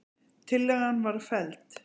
Tillagan var felld